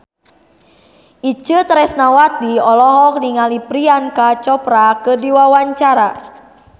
Itje Tresnawati olohok ningali Priyanka Chopra keur diwawancara